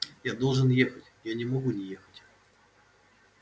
я должен ехать я не могу не ехать